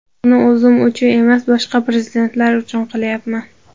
Uni o‘zim uchun emas, boshqa prezidentlar uchun qilyapman.